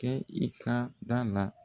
Kɛ i kan dan la.